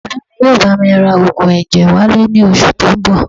Bàbá mi yóò bá mi ra oògùn ẹ̀jẹ̀ wálé ní oṣù tó ń bọ̀